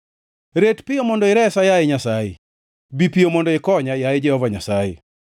Ret piyo mondo iresa, yaye Nyasaye; bi piyo mondo ikonya, yaye Jehova Nyasaye.